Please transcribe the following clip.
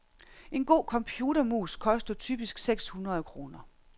En god computermus koster typisk seks hundrede kroner.